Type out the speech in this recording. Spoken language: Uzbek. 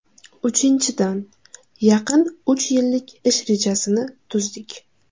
Uchinchidan, yaqin uch yillik ish rejasini tuzdik.